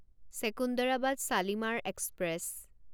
Secunderabad Shalimar express